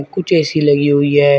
कुछ ए_सी लगी हुई है।